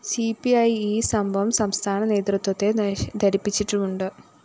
C P E ഈ സംഭവം സംസ്ഥാനനേതൃത്വത്തെ ധരിപ്പിച്ചിട്ടുമുണ്ട്